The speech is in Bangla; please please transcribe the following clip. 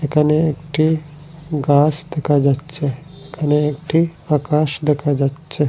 এখানে একটি গাস দেখা যাচ্ছে এখানে একটি আকাশ দেখা যাচ্ছে।